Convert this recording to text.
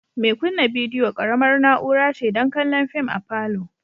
Mai kunna bidiyo ƙaramar na'ura ce don kallon fim a palour